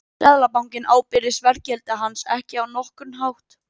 seðlabankinn ábyrgist verðgildi hans ekki á nokkurn hátt